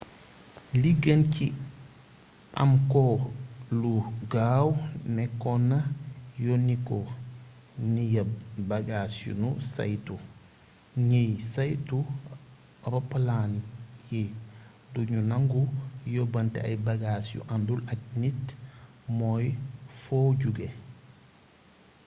li gën ci am ko lu gaaw nékkoona yoniko ni ya bagas yunu saytu ñiy saytu roppalaan yi dugnu nangu yobanté ay bagas yu andul ak nit mooy foo jugé